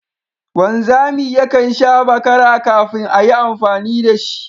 Wanzami yakan sha bakara kafin a yi amfani da shi